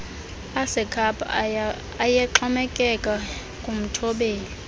asekhapha ayexhomekeke kumthobeli